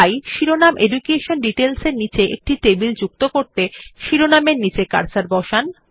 তাই শিরোনাম education details এর নীচে একটি টেবিল যুক্ত করতে শিরোনামের নিচে কার্সার বসান